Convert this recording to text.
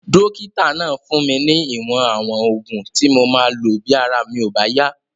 Dókítà náà fún mi ní ìwọ̀n àwọn oògùn tí mo máa lò bí ara mi ò bá yá